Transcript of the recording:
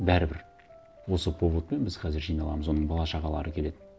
бәрібір осы поводпен біз қазір жиналамыз оның бала шағалары келеді